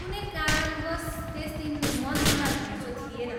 कुनै कारणवश त्यस दिन मन्दिरमा घुइँचो थिएन।